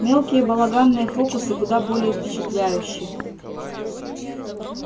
мелкие балаганные фокусы куда более впечатляющи